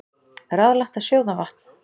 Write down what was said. Ráðlagt að sjóða vatn